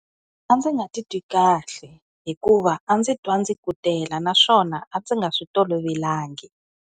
A ndzi nga titwi kahle. Hikuva, a ndzi twa ndzi kutela naswona, a ndzi nga swi tolovelangi.